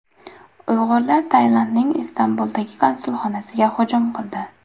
Uyg‘urlar Tailandning Istanbuldagi konsulxonasiga hujum qildi.